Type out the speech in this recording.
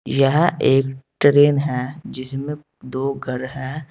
यह एक ट्रेन है जिसमें दो घर है।